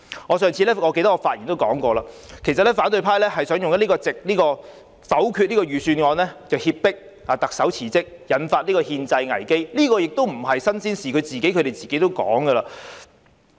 我在上次發言時提過，反對派想以否決預算案來脅迫特首辭職，引發憲制危機，這並非新鮮事，他們自己也說過了。